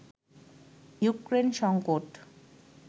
Ukraine সংকট